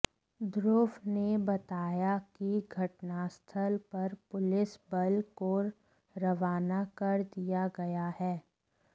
ध्रुव ने बताया कि घटनास्थल पर पुलिस बल को रवाना कर दिया गया है